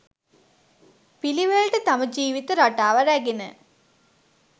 පිළිවෙළට තම ජීවිත රටාව රැගෙන